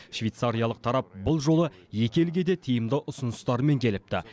швейцариялық тарап бұл жолы екі елге де тиімді ұсыныстарымен келіпті